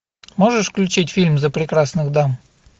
можешь включить фильм за прекрасных дам